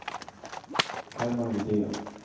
Herman Widén